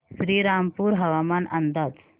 श्रीरामपूर हवामान अंदाज